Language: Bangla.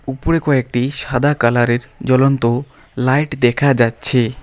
উপরে কয়েকটি সাদা কালারের জলন্ত লাইট দেখা যাচ্ছে।